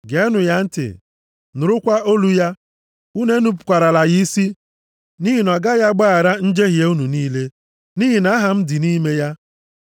Geenụ ya ntị, nụrụkwa olu ya. Unu enupukwarala ya isi, nʼihi na ọ gaghị agbaghara njehie unu niile, nʼihi na Aha m dị nʼime ya.